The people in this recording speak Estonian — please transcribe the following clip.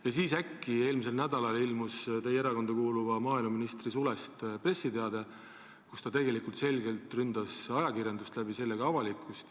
Ja siis äkki eelmisel nädalal ilmus teie erakonda kuuluva maaeluministri sulest pressiteade, kus ta selgelt ründas ajakirjandust ja selle kaudu ka avalikkust.